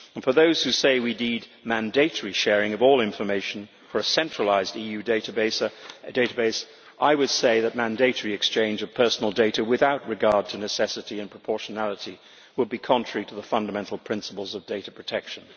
And to those who say we need mandatory sharing of all information for a centralised EU database, I would say that mandatory exchange of personal data without regard to necessity and proportionality would be contrary to the fundamental principles of data protection.